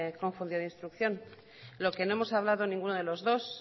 confundido de instrucción lo que no hemos hablado ninguno de los dos